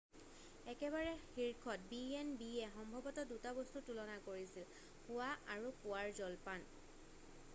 একেবাৰে শীৰ্ষত b&b য়ে সম্ভৱত 2টা বস্তু তুলনা কৰিছিল শোৱা আৰু পূৱাৰ জলপান